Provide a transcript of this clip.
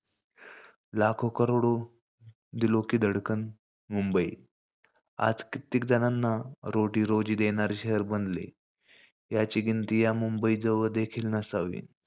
मुंबई! आज कितीकजणांना रोजी-रोटी देणारे शहर बनले. याची या मुंबई जवळ देखील नसावी.